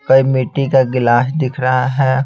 कई मिट्टी का गिलास दिख रहा है।